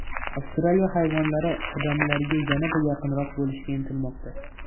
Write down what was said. Avstraliya hayvonlari odamlarga yanada yaqinroq bo‘lishga intilmoqda .